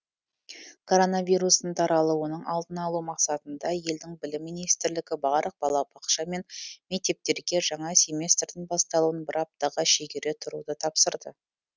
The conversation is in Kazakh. коронавирустың таралуының алдын алу мақсатында елдің білім министрлігі барлық балабақша мен мектептерге жаңа семестрдің басталуын бір аптаға шегере тұруды тапсырды